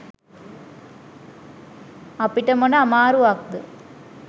අපිට මොන අමාරුවක්ද?